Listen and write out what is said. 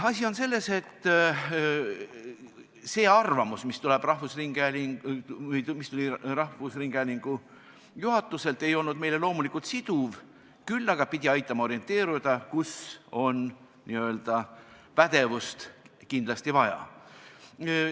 Asi on selles, et see arvamus, mis tuli rahvusringhäälingu juhatuselt, ei olnud meile loomulikult siduv, küll aga pidi aitama orienteeruda, kus on n-ö pädevust kindlasti vaja.